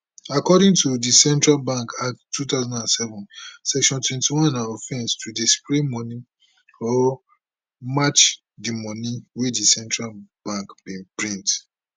according to di central bank act 2007 section 21 na offence to dey spray money or match di money wey di central bank bin print